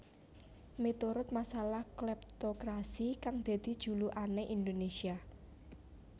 Miturut masalah Kleptokrasi kang dadi julukané Indonésia